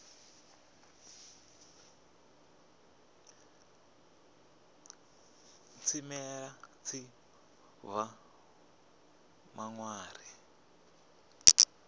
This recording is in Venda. tshimela tshi ḓo bva maṱari